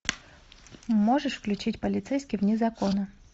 можешь включить полицейский вне закона